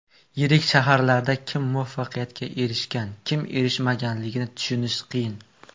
Yirik shaharlarda kim muvaffaqiyatga erishgan, kim erishmaganligini tushunish qiyin.